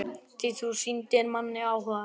Því þú sýndir manni áhuga.